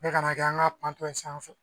Ne kana kɛ an ka panpon sanfɛ